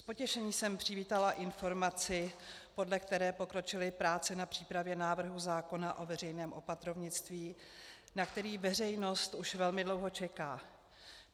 S potěšením jsem přivítala informaci, podle které pokročily práce na přípravě návrhu zákona o veřejném opatrovnictví, na který veřejnost už velmi dlouho čeká.